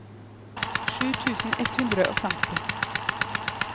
sju tusen ett hundre og femti